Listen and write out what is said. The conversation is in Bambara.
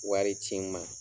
Wari ci n ma.